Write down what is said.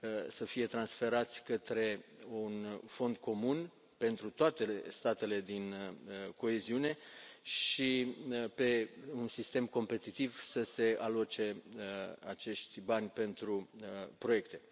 să fie transferați către un fond comun pentru toate statele din coeziune și, pe un sistem competitiv, să se aloce acești bani pentru proiecte.